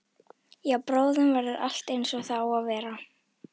Já, bráðum verður allt einsog það á að vera.